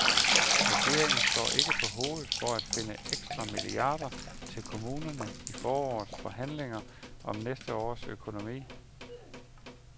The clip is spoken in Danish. Regeringen står ikke på hovedet for at finde ekstra milliarder til kommunerne i forårets forhandlinger om næste års økonomi.